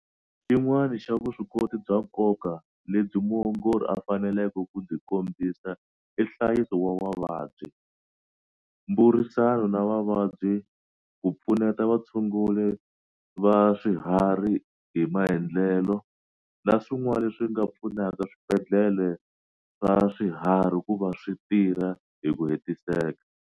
Xin'wana xa vuswikoti bya nkoka lebyi muongori a faneleke ku byi kombisa i nhlayiso wa vavabyi, mburisano na vavabyi, ku pfuneta vatshunguri va swiharhi hi maendlelo, na swin'wana leswi nga pfunaka swibendlhele swa swiharhi ku va swi tirha hi ku hetiseka.